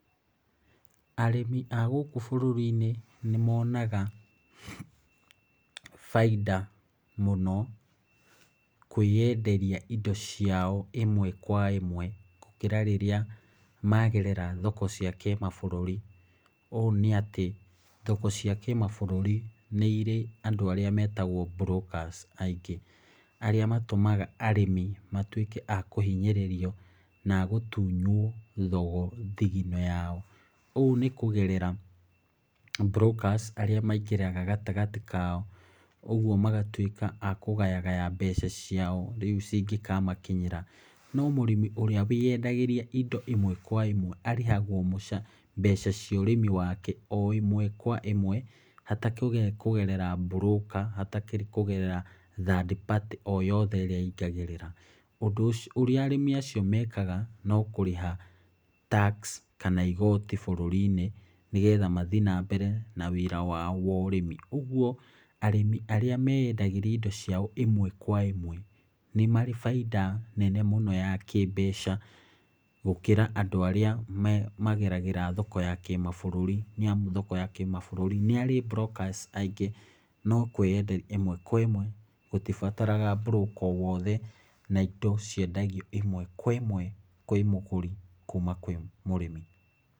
Arĩmi a gũkũ bũrũrĩ-inĩ nĩ monaga, bainda mũno kweyenderia indo ciao ĩmwe kwa ĩmwe gũkĩra rĩrĩa magerera thoko cia kĩmabũrũri. Ũũ nĩ atĩ, thoko cia kĩmabũrũri nĩ irĩ andũ arĩa metagwo brokers aingĩ, arĩa matũmaga arĩmi matuĩke a kũhinyĩrĩrio na agũtunywo thigino yao. Ũũ nĩ kũgerera brokers arĩa maingĩraga gatagatĩ kao, ũguo magatuĩka a kũgayagaya mbeca ciao, rĩu cingĩkamakinyĩra. No mũrĩmi ũrĩa wĩyendagĩria indo ĩmwe kwa ĩmwe, arĩhagwo mbeca cia ũrĩmi wake, o ĩmwe kwa ĩmwe, hatarĩ kũgerera broker, hatakĩrĩ kũgerera third party o yothe ĩrĩa ĩingagĩrĩra. Ũndũ ũrĩa arĩmi acio mekaga no kũrĩha tax, kana igoti bũrũrĩ-inĩ, nĩgetha mathiĩ na mbere na wĩra wao wa ũrĩmi. Ũguo arĩmi arĩa meyendagĩrĩa indo ciao ĩmwe kwa ĩmwe, nĩ marĩ bainda nene mũno ya kĩmbeca gũkĩra andũ arĩa mageragĩra thoko ya kĩmabũrũri, nĩ amu thoko ya kĩmabũrũri nĩ harĩ brokers aingĩ, no kweyenderia ĩmwe kwa ĩmwe gũtibataraga broker o wothe, na indo ciendagio ĩmwe kwa ĩmwe kwĩ mũgũri, kuma kwĩ mũrĩmi.